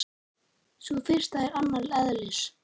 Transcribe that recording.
Sú fyrsta er annars eðlis.